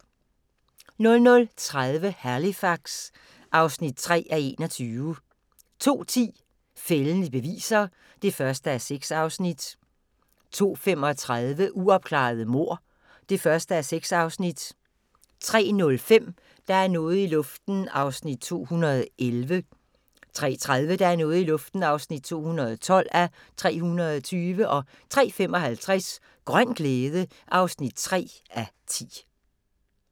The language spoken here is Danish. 00:30: Halifax (3:21) 02:10: Fældende beviser (1:6) 02:35: Uopklarede mord (1:6) 03:05: Der er noget i luften (211:320) 03:30: Der er noget i luften (212:320) 03:55: Grøn glæde (3:10)